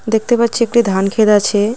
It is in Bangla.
দেখতে পাচ্ছি একটি ধানক্ষেত আছে .